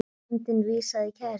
Nefndin vísaði kærunni frá.